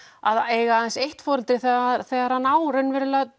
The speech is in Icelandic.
að eiga aðeins eitt foreldri þegar hann á í raun